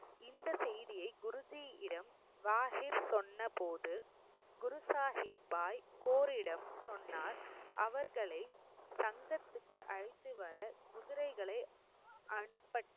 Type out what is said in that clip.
இந்த செய்தியை குருஜியிடம் வாகிர் சொன்னபோது குரு சாகிப் பாய் கோரிடம் சொன்னார் அவர்களை சங்கத்திற்கு அழைத்துவர குதிரைகளை அனுப்பட்~